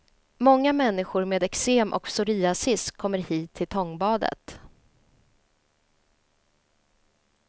Många människor med eksem och psoriasis kommer hit till tångbadet.